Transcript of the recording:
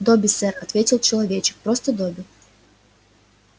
добби сэр ответил человечек просто добби